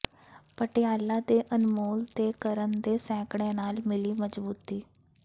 ਪਟਿਆਲਾ ਦੇ ਅਨਮੋਲ ਤੇ ਕਰਨ ਦੇ ਸੈਂਕੜੇ ਨਾਲ ਮਿਲੀ ਮਜ਼ਬੂਤੀ